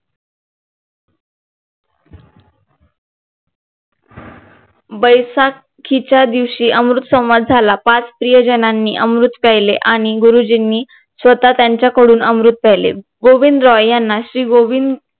बैसाखीच्या दिवशी अमृत सोमवार झाला पाच स्त्रीयजनांनी अमृत प्यायले आणि गुरुजींनी स्वतः त्यांच्याकडून अमृत प्यायले गोबिंदराव यांना श्री गोविंद